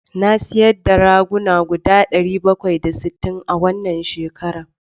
Na sayar da ragunan guda ɗari bakwai da sittin a wannan shekaran.